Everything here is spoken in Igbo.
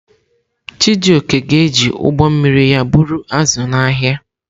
Chijioke ga-eji ụgbọ mmiri ya buru azụ̀ n’ahịa.